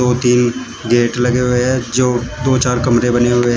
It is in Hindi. तीन गेट लगे हुए हैं जो दो चार कमरे बने हुए हैं।